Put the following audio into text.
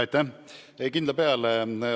Aitäh!